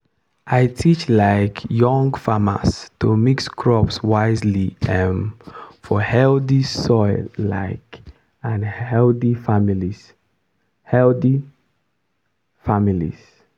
i teach um young farmers to mix crops wisely um for healthy soil um and healthy families. healthy families.